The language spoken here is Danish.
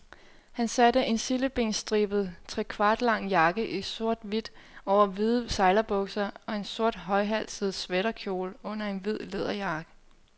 Han satte en sildebenstribet, trekvartlang jakke i sorthvidt over hvide sejlerbukser og en sort højhalset sweaterkjole under en hvid læderjakke.